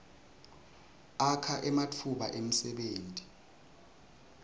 akha ematfuba emsebenti